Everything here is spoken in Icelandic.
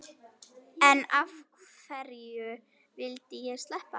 En hverju vildi ég sleppa?